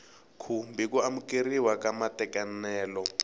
khumbi ku amukeriwa ka matekanelo